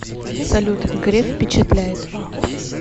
салют греф впечатляет